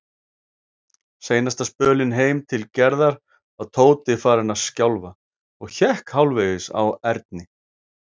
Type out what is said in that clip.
Seinasta spölinn heim til Gerðar var Tóti farinn að skjálfa og hékk hálfvegis á Erni.